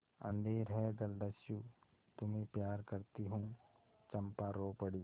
अंधेर है जलदस्यु तुम्हें प्यार करती हूँ चंपा रो पड़ी